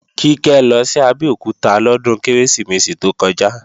Kíkẹ́ lọ sí Abẹ́òkúta lọ́dún Kérésìmesì tó kọjá